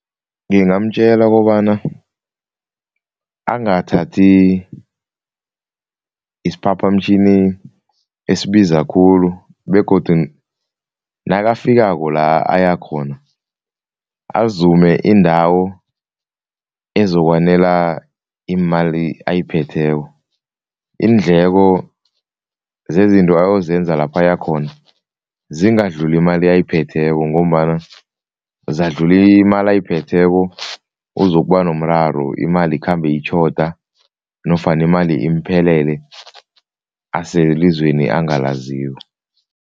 Ngingamtjela kobana angathathi isiphaphamtjhini esibiza khulu begodu nakafikako la ayakhona, azume indawo ezokwanela imali ayiphetheko. Iindleko zezinto ayozenza lapha ayakhona zingadluli imali ayiphetheko ngombana zadlula imali ayiphetheko uzokuba nomraro, imali ikhambe itjhoda nofana imali imphelele aselizweni angalaziko.